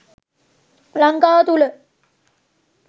ලංකාව තුළ